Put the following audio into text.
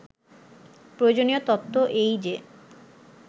প্রয়োজনীয় তত্ত্ব এই যে